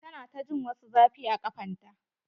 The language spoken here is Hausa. Ta na ta jin wasu zafi a kafan ta.